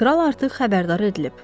Kral artıq xəbərdar edilib.